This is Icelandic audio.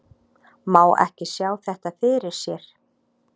Má ekki sjá þetta fyrir sér?